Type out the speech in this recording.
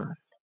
ማለት ነዉ።